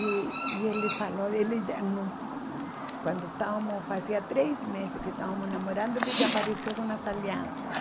E e ele falou dele, ele hum quando estávamos, fazia três meses que estávamos namorando, ele já apareceu com as alianças.